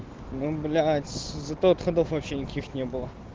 ну блять зато отходов вообще никаких не было